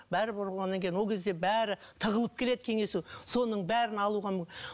бәрі болғаннан кейін ол кезде бәрі тығылып келеді кеңесу соның бәрін алуға